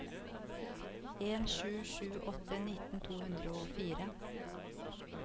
en sju sju åtte nitten to hundre og fire